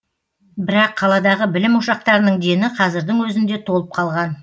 бірақ қаладағы білім ошақтарының дені қазірдің өзінде толып қалған